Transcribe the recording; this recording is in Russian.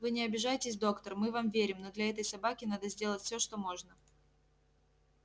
вы не обижайтесь доктор мы вам верим но для этой собаки надо сделать всё что можно